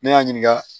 Ne y'a ɲininka